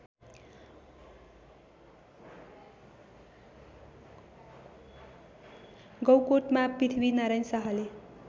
गौकोटमा पृथ्वीनारायण शाहले